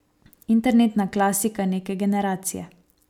Internetna klasika neke generacije.